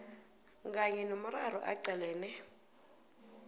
kanye nomraro aqalene